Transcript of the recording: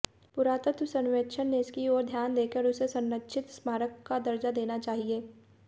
पुरातत्व सर्वेक्षण ने इसकी आेर ध्यान देकर उसे संरक्षित स्मारक का दर्जा देना चाहिए